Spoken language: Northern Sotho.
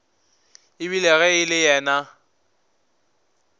ebile ge e le yena